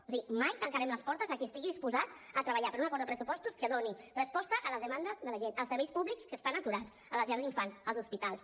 o sigui mai tancarem les portes a qui estigui disposat a treballar per un acord de pressupostos que doni resposta a les demandes de la gent als serveis públics que estan aturats a les llars d’infants als hospitals